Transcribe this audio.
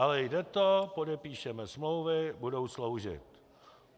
Ale jde to, podepíšeme smlouvy, budou sloužit.